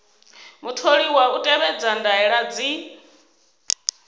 mutholiwa u tevhedza ndaela dzi